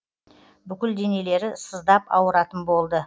бүкіл денелері сыздап ауыратын болды